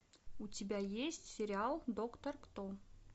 у тебя есть сериал доктор кто